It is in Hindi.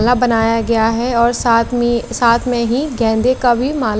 माला बनाया गया है और साथ में साथ मे ही गेंदे का भी माला--